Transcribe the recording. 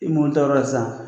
I m'o tɔɔrɔ san.